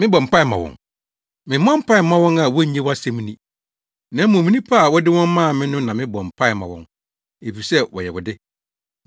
Mebɔ mpae ma wɔn. Memmɔ mpae mma wɔn a wonnye wʼasɛm nni, na mmom nnipa a wode wɔn maa me no na mebɔ mpae ma wɔn, efisɛ wɔyɛ wo de.